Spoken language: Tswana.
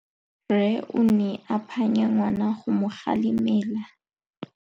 Rre o ne a phanya ngwana go mo galemela.